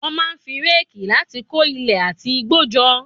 Wọ́n máa ń fi réèkì láti kó ilẹ̀ àti igbó jọ.